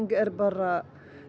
er bara